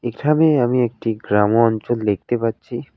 এখামে আমি একটি গ্রামও অঞ্চল দেখতে পারছি।